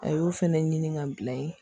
A y'o fɛnɛ ɲini ka bila ye